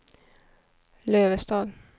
Lövestad